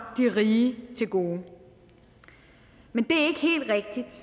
de rige til gode men